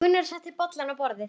Gunnar setti bollana á borðið.